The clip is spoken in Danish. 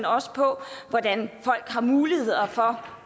også på hvordan folk har muligheder for